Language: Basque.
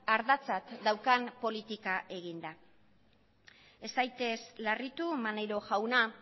ardatzat daukan politika eginda ez zaitez larritu maneiro jauna